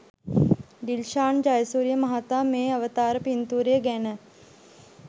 ඩිල්ෂාන් ජයසූරිය මහතා මේ අවතාර පින්තූරය ගැන